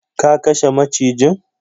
Ka kashe macijin.